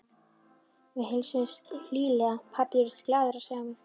Við heilsuðumst hlýlega og pabbi virtist glaður að sjá mig.